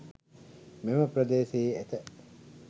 මෙම ප්‍රදේශයේ ඇත